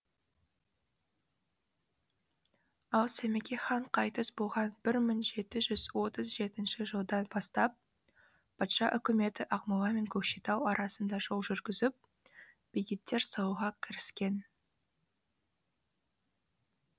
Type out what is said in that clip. ал сәмеке хан қайтыс болған бір мың жеті жүз отыз жетінші жылдан бастап патша үкіметі ақмола мен көкшетау арасына жол жүргізіп бекеттер салуға кіріскен